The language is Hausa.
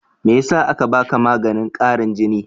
Me yasa aka baka maganin ƙarin jini?